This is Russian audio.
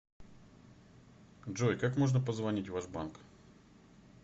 джой как можно позвонить в ваш банк